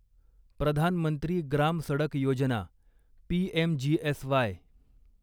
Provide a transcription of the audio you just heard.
Pradhan Mantri Gram Sadak Yojana PMGSY